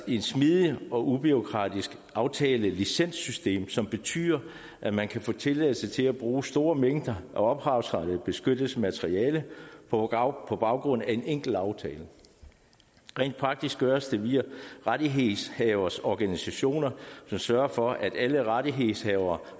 et smidigt og ubureaukratiskt aftalelicenssystem som betyder at man kan få tilladelse til at bruge store mængder af ophavsrettighedsbeskyttet materiale på baggrund af en enkelt aftale rent praktisk gøres det via rettighedshavers organisationer som sørger for at alle rettighedshavere